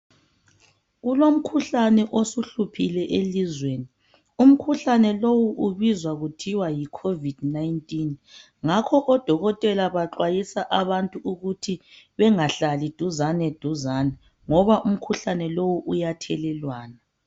Kulomkhuhlane osuhluphile elizweni umkhuhlane lowu ubizwa kuthiwa yi Covid 19 ngakho odokotela baxwayisa abantu ukuthi bengahlali duzane duzane ngoba umkhuhlane lowu uyathelelwana.